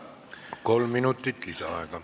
Kolm minutit lisaaega.